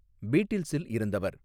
பீட்டில்ஸில் இருந்தவர்